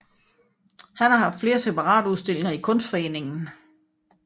Han har haft flere separatudstillinger i Kunstforeningen